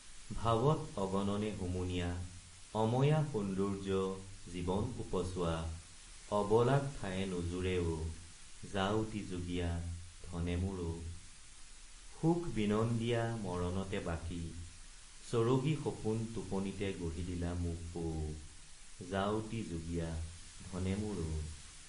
ভাৱত অগণনে হুমুনিয়া অময়া সৌন্দৰ্য্য জীৱন ওপচোৱা অবলাক ঠায়ে নোজোৰে অ যাউতিযুগীয়া ধনে মোৰ অ সুখ বিনন্দীয়া মৰণতে বাকি চৰগী সপোন টোপনিতে গঢ়ি দিলা মোক অ যাউতি যুগীয়া ধনে মোৰ অ।